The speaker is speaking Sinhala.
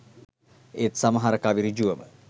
ඒත් සමහර කවි ඍජුවම